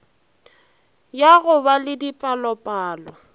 ya go ba le dipalopalo